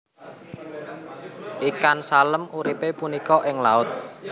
Ikan salem uripe punika ing laut